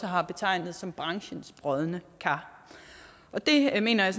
har betegnet som branchens brodne kar og det mener jeg